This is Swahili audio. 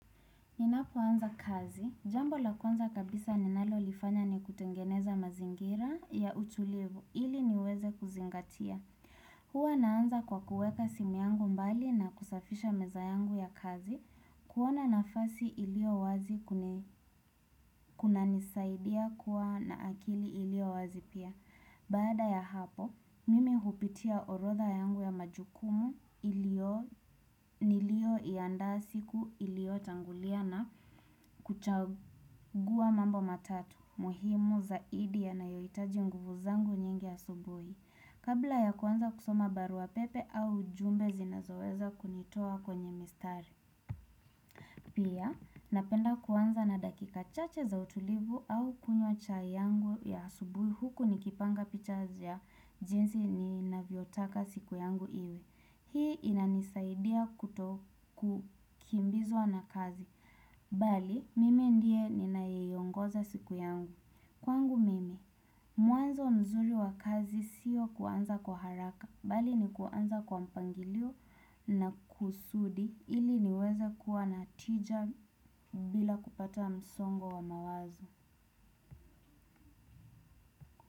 Ninapoanza kazi, jambo la kwanza kabisa ninalolifanya ni kutengeneza mazingira ya utulivu, ili niweze kuzingatia. Huwa naanza kwa kuweka simu yangu mbali na kusafisha meza yangu ya kazi, kuona nafasi iliyo wazi kunanisaidia kuwa na akili iliyo wazi pia. Baada ya hapo, mimi hupitia orotha yangu ya majukumu niliyoiandaa siku iliyotangulia na kuchagua mambo matatu muhimu zaidi yanayohitaji nguvu zangu nyingi asubuhi. Kabla ya kuanza kusoma barua pepe au ujumbe zinazoweza kunitoa kwenye mistari. Pia, napenda kuanza na dakika chache za utulivu au kunywa chai yangu ya asubuhi huku nikipanga picha za jinsi ninavyotaka siku yangu iwe. Hii inanisaidia kuto kukimbizwa na kazi. Bali, mimi ndiye ninayeiongoza siku yangu. Kwangu mimi, mwanzo mzuri wa kazi sio kuanza kwa haraka. Bali ni kuanza kwa mpangilio na kusudi ili niweze kuwa na tija. Bila kupata msongo wa mawazo.